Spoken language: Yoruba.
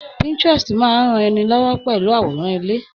Pinterest máa n rán ni lọwọ pẹlú aworan ilé.